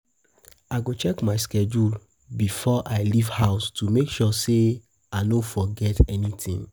I go check I go check my schedule before I leave house to make sure I no forget anything.